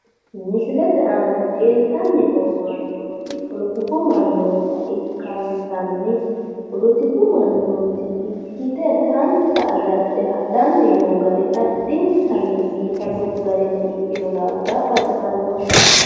Misilete aana leeltanni noo mannooti poletiku mannoota ikkansanni poletiku mannooti ikkite taransa agarte hadhanni noo gari addintanni biifadu garinni ikkino daafira baxisannoho.